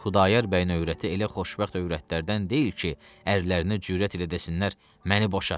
Xudayar bəyin övrəti elə xoşbəxt övrətlərdən deyil ki, əllərinə cürət elə desinlər məni boşa.